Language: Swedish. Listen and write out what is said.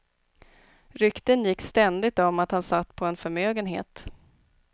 Rykten gick ständigt om att han satt på en förmögenhet.